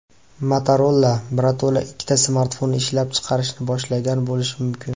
Motorola birato‘la ikkita smartfonni ishlab chiqarishni boshlagan bo‘lishi mumkin.